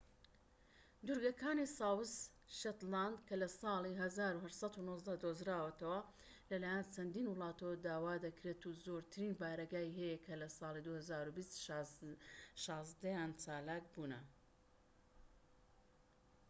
دوورگەکانی ساوس شێتلاند کە لە ساڵی 1819 دۆزراوەتەوە لە لایەن چەندین وڵاتەوە داوا دەکرێت و زۆرترین بارەگای هەیە کە لە ساڵی 2020 شازدەیان چالاک بوونە